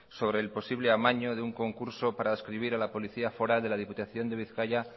sobre el posible amaño de un concurso para adscribir a la policía foral de la diputación de bizkaia